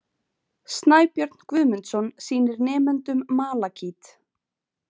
Snæbjörn Guðmundsson sýnir nemendum malakít.